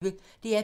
DR P1